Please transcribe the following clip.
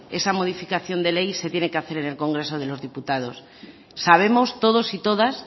esa modificación de ley se tiene que hacer en el congreso de los diputados sabemos todos y todas